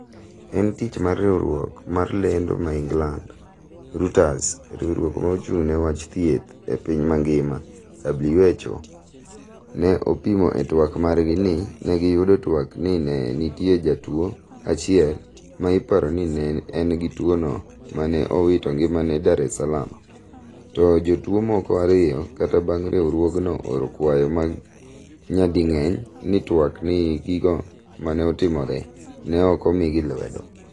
en tich mar riwruok mar lendo ma England, Reuters, riwruok ma ochung ne wach thieth e piny mangima (WHO). Ne opimo e twak margi ni negiyudo twak ni ne nitie jatuwo achiel ma iparo ni ne engi tuwono ma ne owito ngimane Dar es Saalam. to jotuwo moko ariyo kata bang riwruogno oro kwayo nyading'eny ni twak ni gigo maneotimore. ne ok omigi lwedo